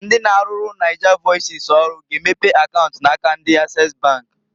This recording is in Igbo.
Ndi na-arụrụ Nigervoices ọrụ g'emepe akaunt na aka ndi Access bank.